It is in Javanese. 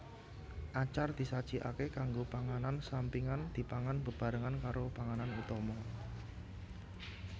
Acar disajikake kanggo panganan sampingan dipangan bebarengan karo panganan utama